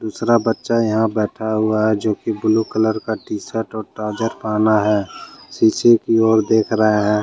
दूसरा बच्चा यहां बैठा हुआ है जो कि ब्लू कलर का टीशर्ट और ट्राउजर पहना है शीशे की ओर देखा रहा है।